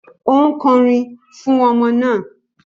Ó ń kọrin fún ọmọ náà